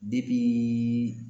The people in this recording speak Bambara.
depiiii